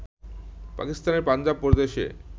পাকিস্তানের পাঞ্জাব প্রদেশে